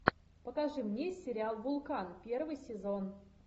покажи мне сериал вулкан первый сезон